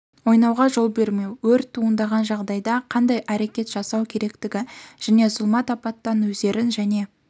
ойнауға жол бермеу өрт туындаған жағдайда қандай әрекет жасау керектігі және зұлмат апаттан өздерін және